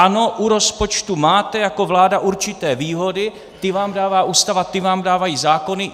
Ano, u rozpočtu máte jako vláda určité výhody, ty vám dává Ústava, ty vám dávají zákony.